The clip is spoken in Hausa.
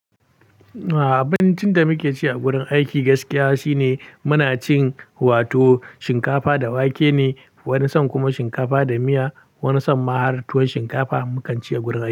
A'a, abincin da muke ci a gurin aiki gaskiya shine muna cin wato shinkafa da wake ne wani san kuma shinkafa da miya, wani san ma har tuwon shinkafa mukan ci a gurin.